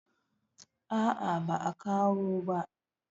a a ba a kawo ba